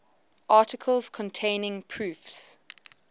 articles containing proofs